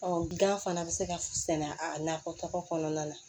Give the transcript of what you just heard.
gan fana bɛ se ka sɛnɛ a nakɔtaga kɔnɔna na